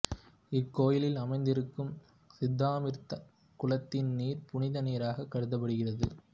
இக்கோயிலில் அமைந்திருக்கும் சித்தாமிர்தக் குளத்தின் நீர் புனித நீராக கருதப்படுகின்றது